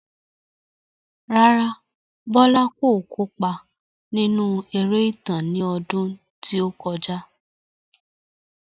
Rárá, Bolaji kò kópa nínú eré ìtàn ní ọdún tí ó kọjá.